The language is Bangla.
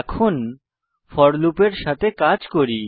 এখন ফোর লুপের সাথে কাজ করি